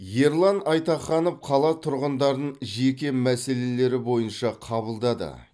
ерлан айтаханов қала тұрғындарын жеке мәселелері бойынша қабылдады